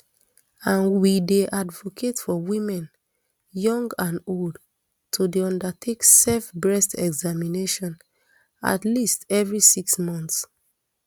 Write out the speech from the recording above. and we dey advocate for women young and old to dey undertake self breast examination at least every six months